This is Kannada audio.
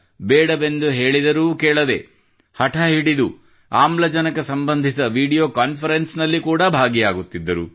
ಬೇಡವೆಂದು ಹೇಳಿದರೂ ಕೇಳದೆ ಹಠ ಹಿಡಿದು ಆಮ್ಲಜನಕ ಸಂಬಂಧಿತ ವಿಡಿಯೋ ಕಾನ್ಫರೆನ್ಸ್ ನಲ್ಲಿ ಕೂಡಾ ಭಾಗಿಯಾಗುತ್ತಿದ್ದರು